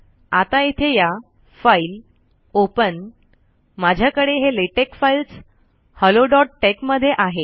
आता इथे या फाइल ओपन माझ्याकडे हे लॅटेक्स फाइल्स helloटेक्स मध्ये आहे